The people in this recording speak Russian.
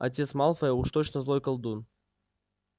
отец малфоя уж точно злой колдун